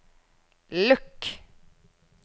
lukk